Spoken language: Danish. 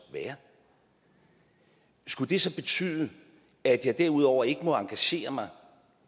være skulle det så betyde at jeg derudover ikke må engagere mig